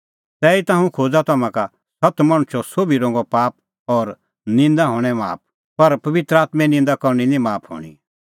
तैहीता हुंह खोज़ा तम्हां का सत्त मणछो सोभी रंगो पाप और निंदा हणैं माफ पर पबित्र आत्में निंदा करनी निं माफ हणीं